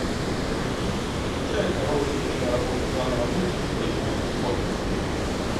включай хорошую киноработу жанра мультики по японским комиксам